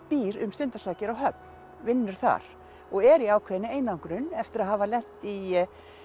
býr um stundarsakir á Höfn vinnur þar og er í ákveðinni einangrun eftir að hafa lent í